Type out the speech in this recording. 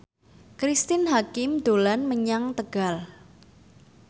Cristine Hakim dolan menyang Tegal